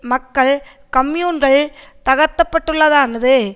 மக்கள் கம்யூன்கள் தகர்க்கப்பட்டதானது